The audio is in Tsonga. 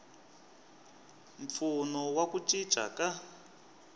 mpfuno wa ku cinca ka